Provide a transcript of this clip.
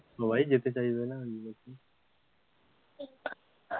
সবাই যেতে চাইবে না